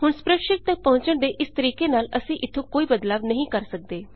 ਹੁਣ ਸਪ੍ਰੈਡਸ਼ੀਟ ਤੱਕ ਪਹੁੰਚਣ ਦੇ ਇਸ ਤਰੀਕੇ ਨਾਲ ਅਸੀਂ ਇੱਥੋਂ ਕੋਈ ਬਦਲਾਵ ਨਹੀਂ ਕਰ ਸੱਕਦੇ